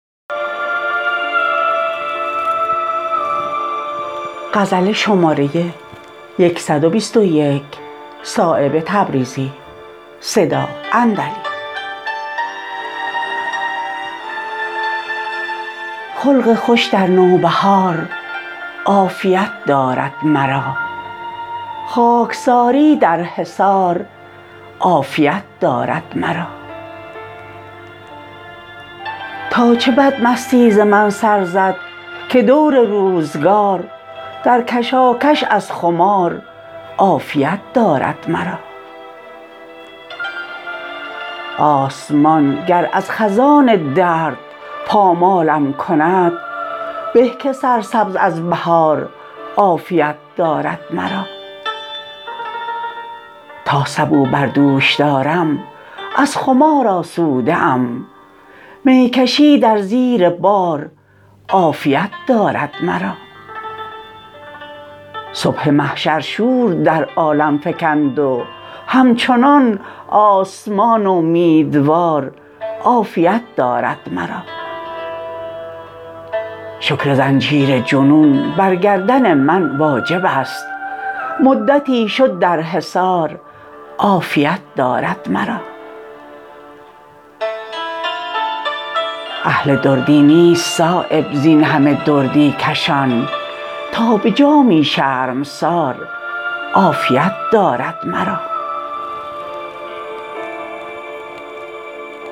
خلق خوش در نوبهار عافیت دارد مرا خاکساری در حصار عافیت دارد مرا تا چه بدمستی ز من سرزد که دور روزگار در کشاکش از خمار عافیت دارد مرا آسمان گر از خزان درد پامالم کند به که سرسبز از بهار عافیت دارد مرا تا سبو بر دوش دارم از خمار آسوده ام می کشی در زیر بار عافیت دارد مرا صبح محشر شور در عالم فکند و همچنان آسمان امیدوار عافیت دارد مرا شکر زنجیر جنون بر گردن من واجب است مدتی شد در حصار عافیت دارد مرا اهل دردی نیست صایب زین همه دردی کشان تا به جامی شرمسار عافیت دارد مرا